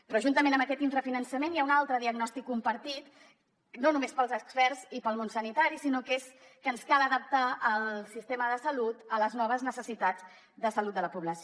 però juntament amb aquest infrafinançament hi ha un altre diagnòstic compartit no només pels experts i pel món sanitari que és que ens cal adaptar el sistema de salut a les noves necessitats de salut de la població